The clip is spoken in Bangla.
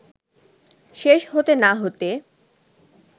শেষ হতে না হতে